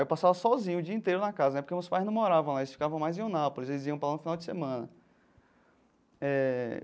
Eu passava sozinho o dia inteiro na casa, porque meus pais não moravam lá, eles ficavam mais em Eunápolis, eles iam para lá no final de semana eh.